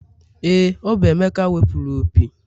Ee, ọ bụ emeka wepụrụ opi.